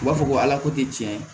U b'a fɔ ko ala ko te tiɲɛ